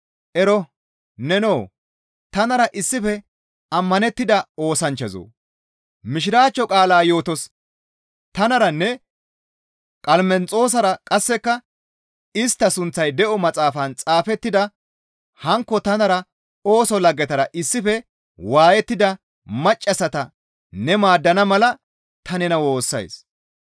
Ero! Nenoo! Tanara issife ammanettida oosanchchazoo! Mishiraachcho qaalaa yootos tanaranne Qalamenxoosara qasseka istta sunththay de7o maxaafan xaafettida hankko tanara ooso laggetara issife waayettida maccassata ne maaddana mala ta nena woossays.